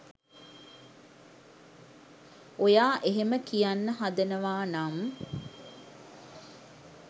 ඔයා එහෙම කියන්න හදනවා නම්